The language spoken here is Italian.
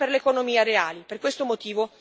Per questo motivo abbiamo votato contro.